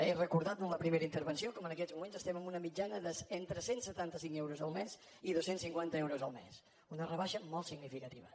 he recordat en la primera intervenció com en aquests moments estem en una mitjana d’entre cent i setanta cinc euros el mes i dos cents i cinquanta euros el mes una rebaixa molt significativa